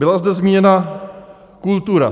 Byla zde zmíněna kultura.